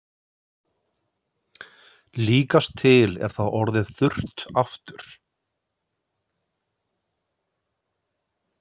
Líkast til er það orðið þurrt aftur.